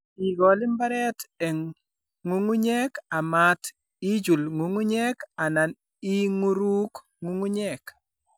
Igol mbareet eng' ng'ung'unyek, amat ichuul ng'ung'unyek, anan ing'uruuk ng'ung'unyek.